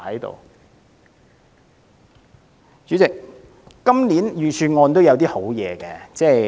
代理主席，今年預算案也有一些好建議。